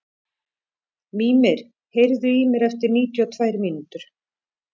Mímir, heyrðu í mér eftir níutíu og tvær mínútur.